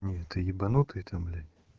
не ты ебанутая там блять